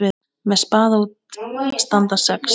Með spaða út standa sex.